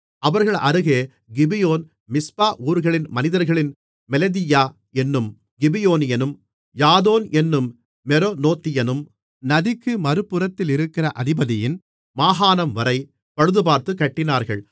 அவர்கள் அருகே கிபியோன் மிஸ்பா ஊர்களின் மனிதர்களின் மெலதீயா என்னும் கிபியோனியனும் யாதோன் என்னும் மெரோனோத்தியனும் நதிக்கு மறுபுறத்திலிருக்கிற அதிபதியின் மாகாணம்வரை பழுதுபார்த்துக் கட்டினார்கள்